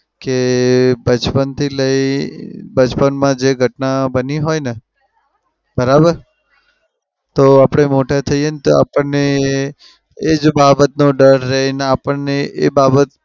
કે બચપનથી લઇ અમ બચપનમાં જે ઘટના બની હોય ને. બરાબર? તો આપણે મોટા થઈએ તો આપણને એ એજ બાબતનો ડર રેય અને આપણને એ બાબત